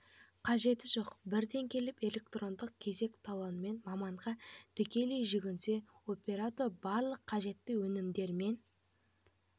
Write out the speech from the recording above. қажеті жоқ бірден келіп электрондық кезек талонымен маманға тікелей жүгінсе оператор барлық қажетті өнімдер мен